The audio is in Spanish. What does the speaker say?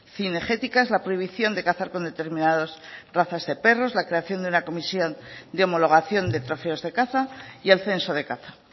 cinegéticas la prohibición de cazar con determinados razas de perros la creación de una comisión de homologación de trofeos de caza y el censo de caza